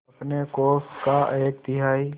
अपने कोष का एक तिहाई